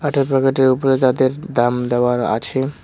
প্যাকেটের উপরে যাদের দাম দেওয়ার আছে।